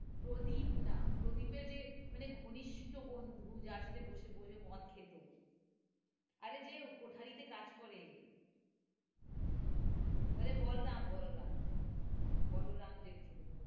প্রদীপ না, প্রদীপের যে মানে ঘনিষ্ট বন্ধু যার সাথে বসে বসে মদ খেতো আরে যে কুঠারিতে কাজ করে আরে বলরাম বলরাম বলরাম যে ছেলে,